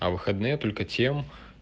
а выходные только тем